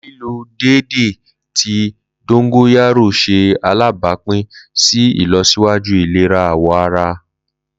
Lilo deede ti dongoyaro ṣe alabapin si ilọsiwaju ilera awọ ara.